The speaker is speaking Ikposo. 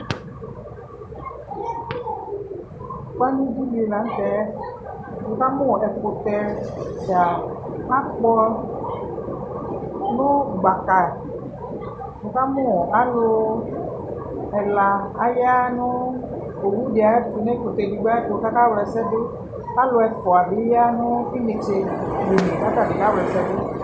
Kpanu ku di la nu tɛ ukamu ɛkutɛ ɛfua ku akpɔ nu gbaka uka mu alu ɛla aya nu owu bée ɖi ayɛtu ku aka wla ɛsɛ dú alu ɛfua dibi ya nu inetse bene ku atani ka wla ɛsɛdu